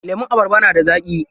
Lemun abarba na da zaƙi.